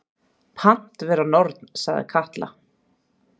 Pant vera norn, sagði Katla.